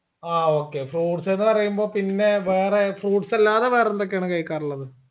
ആ okay fruits ന്ന് പറയുമ്പോ പിന്നെ വേറെ fruits അല്ലാതെ വേറെന്തൊക്കെയാണ് കഴിക്കാറുള്ളത്.